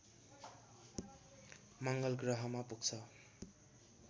मङ्गलग्रहमा पुग्छ